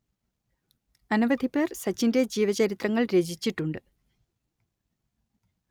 അനവധി പേർ സച്ചിന്റെ ജീവചരിത്രങ്ങൾ രചിച്ചിട്ടുണ്ട്